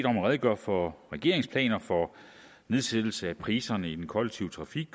om at redegøre for regeringens planer for nedsættelse af priserne i den kollektive trafik